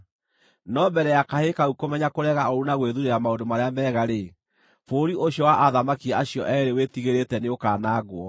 No mbere ya kahĩĩ kau kũmenya kũrega ũũru na gwĩthuurĩra maũndũ marĩa mega-rĩ, bũrũri ũcio wa athamaki acio eerĩ wĩtigĩrĩte nĩũkanangwo.